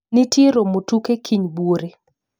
Ntie romo tuke kiny buore